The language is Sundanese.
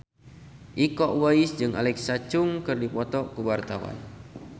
Iko Uwais jeung Alexa Chung keur dipoto ku wartawan